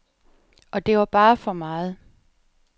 Og det var bare for meget.